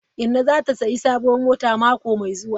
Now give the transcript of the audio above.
Inna zata sayi sabuwar mota mako mai zuwa.